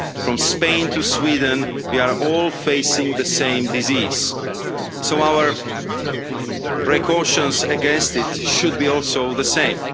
From Spain to Sweden, we are all facing the same disease so our precautions against it should also be the same.